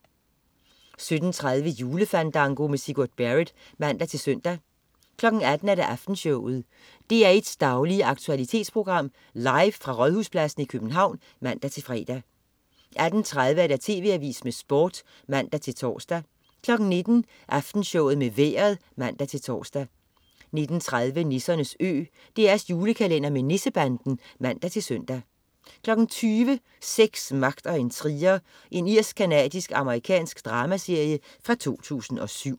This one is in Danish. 17.30 Julefandango. Sigurd Barrett (man-søn) 18.00 Aftenshowet. DR1's daglige aktualitetsprogram, live fra Rådhuspladsen i København (man-fre) 18.30 TV Avisen med Sport (man-tors) 19.00 Aftenshowet med Vejret (man-tors) 19.30 Nissernes Ø. DR's julekalender med Nissebanden (man-søn) 20.00 Sex, magt og intriger. Irsk-canadisk-amerikansk dramaserie fra 2007